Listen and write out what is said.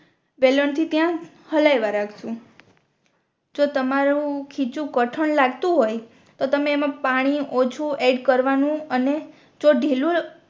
વેલણ થી ત્યાં હલાઈવા રાખશુ જો તમારું ખીચું કઠણ લાગતું હોય તો તમે એમા પાણી ઓછું એડ કરવાનુ અને જો ઢીલું.